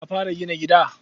Ka fara gina gida?